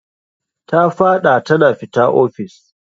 Ta fad'a tana fita office.